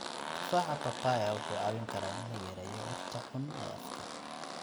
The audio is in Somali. Tufaaxa papaya wuxuu caawin karaa in la yareeyo urta xun ee afka.